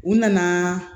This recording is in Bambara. U nana